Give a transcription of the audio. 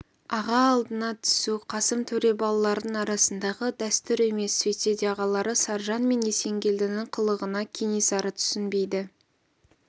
аға алдына түсу қасым төре балаларының арасындағы дәстүр емес сөйтсе де ағалары саржан мен есенгелдінің қылығына кенесары түсінбейді